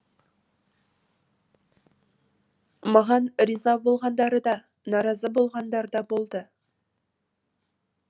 маған риза болғандары да наразы болғандар да болды